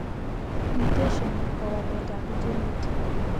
Mutation ko waleet ab genit